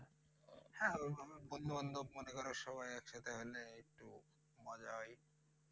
হ্যাঁ বন্ধু বান্ধব মনে কর সবাই আছে তাহলে একটু মজাই।